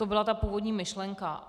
To byla ta původní myšlenka.